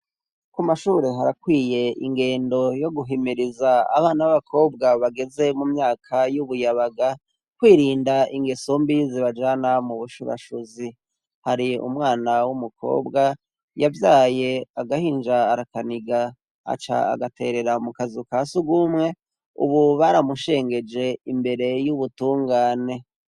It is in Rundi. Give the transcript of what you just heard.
Ku mashubure harakwiye ingendo yo guhimiriza abana abakobwa bageze mu myaka y'ubuyabaga kwirinda ingeso mbi zibajana mu bushurashuzi, hari umwana w'umukobwa yavyaye agahinja arakaniga aca agaterera mukazu ka sugumwe, ubu baramushengeje imbere y'ubutungane.